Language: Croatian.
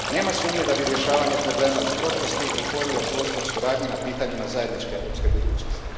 Nema sumnje da bi rješavanje problema iz prošlosti otvorilo prostor suradnji na pitanjima zajedničke europske budućnosti